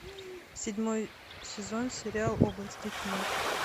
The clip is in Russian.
седьмой сезон сериал области тьмы